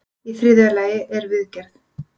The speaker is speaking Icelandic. Í þriðja lagi er viðgerð.